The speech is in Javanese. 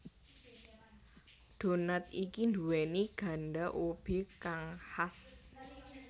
Donat iki nduwèni ganda ubi kang khas